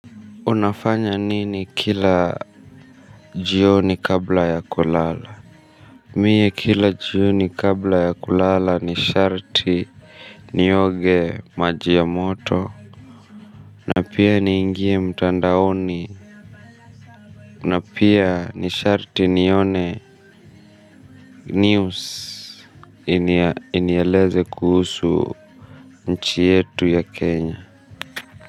Unafanya nini kila jioni kabla ya kulala? Mie kila jioni kabla ya kulala ni sharti nioge maji ya a moto. Na pia niingie mtandaoni. Na pia ni sharti nione news. Inieleze kuhusu nchi yetu ya Kenya.